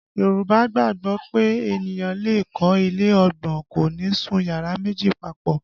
Yorùbá gbàgbọ́ pé ènìyàn lè kọ́ ilé ọgbọ́n, kò ní sun yàrá méjì papọ